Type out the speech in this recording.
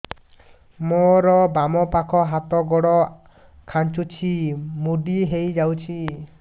ମୋର ବାମ ପାଖ ହାତ ଗୋଡ ଖାଁଚୁଛି ମୁଡି ହେଇ ଯାଉଛି